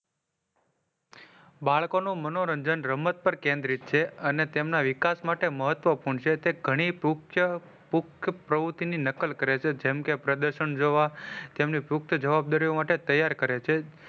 બાળકો નું મનોરંજન રમત પર કેન્દ્રિત છે. અને તેના વિકાસ માટે મહત્વપૂર્ણ છે. તે ગણી પુખચા પુખ પ્રવુતિ ની નકલ કરે છે. જેમ કે પ્રદર્શન જોવા તેમની પુખ્ત જવાબદારીઓ માટે તૈયાર કરે છે.